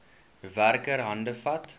werker hande vat